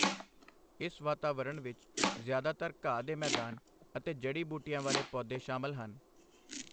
ਇਸ ਵਾਤਾਵਰਣ ਵਿੱਚ ਜ਼ਿਆਦਾਤਰ ਘਾਹ ਦੇ ਮੈਦਾਨ ਅਤੇ ਜੜੀ ਬੂਟੀਆਂ ਵਾਲੇ ਪੌਦੇ ਸ਼ਾਮਲ ਹਨ।